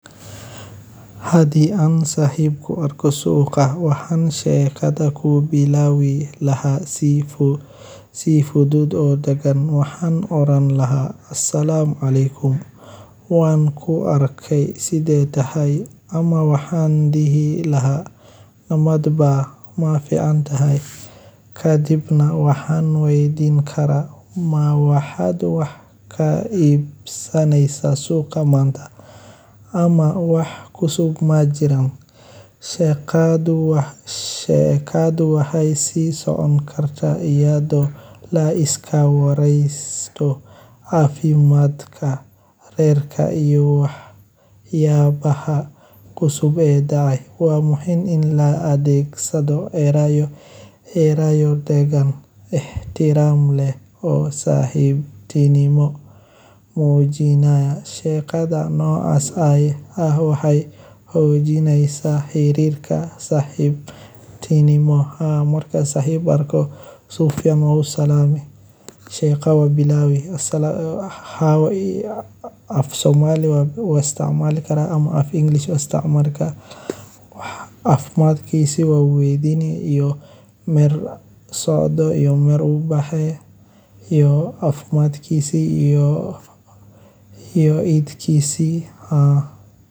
Hadi an Saxib Kuarko Suuqa wahan Shekhada ku bilawi laha sifu Sifudood oo degen wahan oran laha. Assalamualaikum, Wan ku arkey side tahay ama wahan dihi laha nomad ba ma fican tahay ka dibna wahan waydin kara ma wahaa duwax ka iibsanaysa suuqa manta ama wax kusub ma jiran. Shekadu wah, sheekadu wahay sii socon karta iyadoo la iska waraysato caafiimaadka, reerka iyo wax, yaa baha kusub ee da'ay. Waa muhim in la adeegsado eerayo, Eerayo deggan ikhtiraam leh. Oh Saaxib Tini mo Mowjina sheekada noo as aye ah wahay hooyijinaysa xiriirka Saxib Tini Moha marka Sahib ku arkoo Si ficaan Mo Salame. Sheeko wa u bilawi. Haawa iyo Afsoomaali waa istamaali kara ama af English wa isticmaali ka. caafimaadkiisi waa weydini iyo mirsoodo iyo mir u bahay. Iyo caafmaadkiisi iyo iyo idkisi ha.